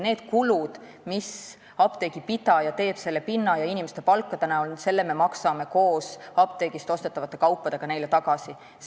Need kulud, mis apteegipidaja teeb müügipinna ja inimeste palkade näol, maksame meie apteegist ostetavate kaupade eest tagasi.